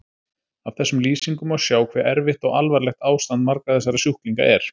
Af þessum lýsingum má sjá hve erfitt og alvarlegt ástand margra þessara sjúklinga er.